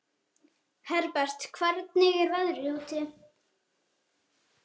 Herbert, hvernig er veðrið úti?